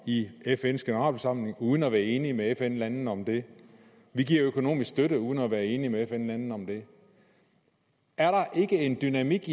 i fns generalforsamling uden at være enige med fn landene om det vi giver økonomisk støtte uden at være enige med fn landene om det er der ikke en dynamik